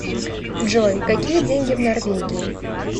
джой какие деньги в норвегии